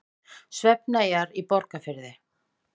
Svefneyjar á Breiðafirði.